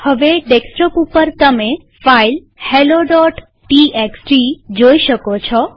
હવે ડેસ્કટોપ ઉપર તમે ફાઈલ હેલોટીએક્સટી જોઈ શકો છો